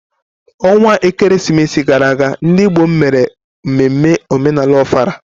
onwa ekeresimesi gara aga, ndị Igbo m mere mmemme omenala Ofala.